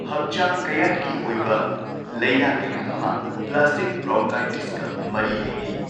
ꯍꯛꯆꯥꯡ ꯀꯌꯥꯠꯀꯤ ꯑꯣꯏꯕ ꯂꯩꯅꯥ ꯀꯌꯥ ꯑꯃ ꯄ꯭ꯂꯥꯁꯇꯤꯛ ꯕ꯭ꯔꯣꯟꯀꯥꯏꯇꯤꯁꯀ ꯃꯔꯤ ꯂꯩꯅꯩ꯫